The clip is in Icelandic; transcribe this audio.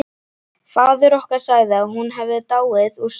Faðir okkar sagði að hún hefði dáið úr sorg.